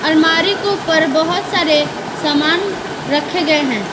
अलमारी के ऊपर बहुत सारे सामान रखे गए हैं।